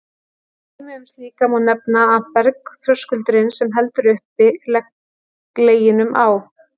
Sem dæmi um slíkt má nefna að bergþröskuldurinn, sem heldur uppi Leginum á